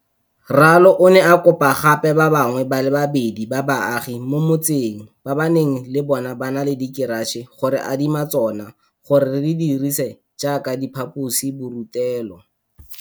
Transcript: Ralo o ne a kopa gape ba bangwe ba le babedi ba baagi mo motseng ba ba neng le bona ba na le dikeratšhe go re adima tsona gore re di dirise jaaka diphaposiburutelo.